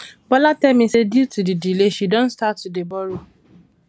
bola tell me say due to the delay she don start to to dey borrow